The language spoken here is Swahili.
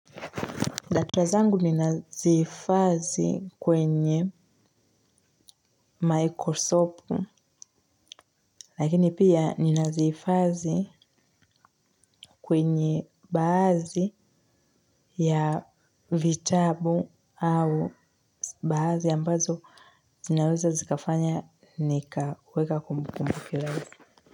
Data zangu ninazihifadhi kwenye Microsoft, lakini pia ninazihifadhi kwenye baadhi ya vitabu. Au baadhi ambazo zinaweza zikafanya nikaweka kumbukumbu.